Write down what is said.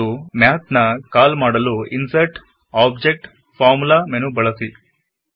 ಮತ್ತು ಮ್ಯಾಥ್ ನ ಕಾಲ್ ಮಾಡಲು ಇನ್ಸರ್ಟ್ ಜಿಟಿಯ ಆಬ್ಜೆಕ್ಟ್ ಜಿಟಿಯ ಫಾರ್ಮುಲಾ ಮೆನು ಬಳಸಿ